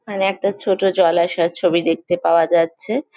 ওখানে একটা ছোট জলাশয় ছবি দেখতে পাওয়া যাচ্ছে ।